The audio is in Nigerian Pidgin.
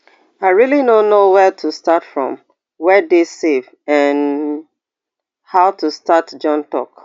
i really no know wia to start from wia dey safe and how to start john tok